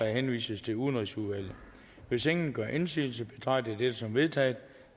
henvises til udenrigsudvalget hvis ingen gør indsigelse betragter jeg det som vedtaget